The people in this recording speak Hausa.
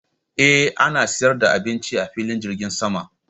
Eh ana siyar da abinci a filin jirgin sama.